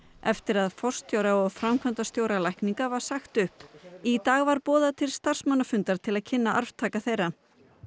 eftir að forstjóra og framkvæmdastjóra lækninga var sagt upp í dag var boðað til starfsmannafundar til að kynna arftaka þeirra